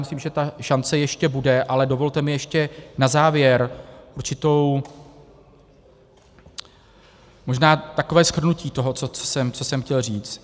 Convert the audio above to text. Myslím, že ta šance ještě bude, ale dovolte mi ještě na závěr určitou... možná takové shrnutí toho, co jsem chtěl říct.